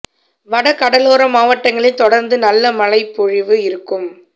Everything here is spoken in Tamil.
வட கடலோர மாவட்டங்களில் தொடர்ந்து நல்ல மழை பொழிவு இருக்கும்